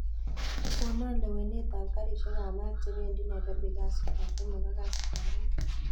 Konan lewenet ab karishek ab maat chebendi nairobi kasit ab somok ak kasit ab ang'wan